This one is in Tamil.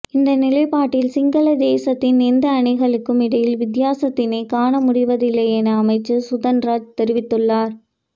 இந்நிலைப்பாட்டில் சிங்கள தேசத்தின் எந்த அணிகளுக்கும் இடையில் வித்தியாசத்தினைக் காண முடிவதில்லை என அமைச்சர் சுதன்ராஜ் தெரிவித்துள்ளார்